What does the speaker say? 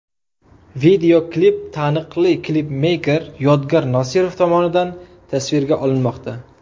Videoklip taniqli klipmeyker Yodgor Nosirov tomonidan tasvirga olinmoqda.